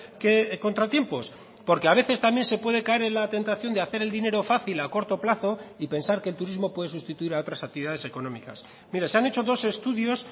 que contratiempos porque a veces también se puede caer en la tentación de hacer el dinero fácil a corto plazo y pensar que el turismo puede sustituir a otras actividades económicas mire se han hecho dos estudios